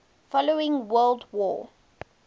following world war